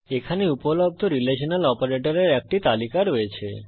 এখানে উপলব্ধ রিলেশনাল অপারেটরের একটি তালিকা রয়েছে